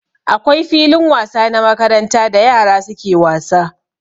Akwai filin wasa na makaranta da yara suke wasa.